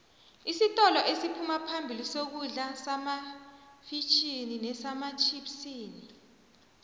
isintolo esiphuma phambili sokudla semafitjhini nematjhipsini